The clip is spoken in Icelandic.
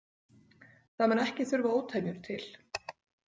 Það mun ekki þurfa ótemjur til.